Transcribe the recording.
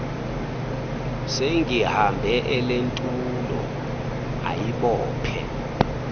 sengibambe elentulo ayibophe